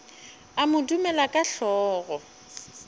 a mo dumela ka hlogo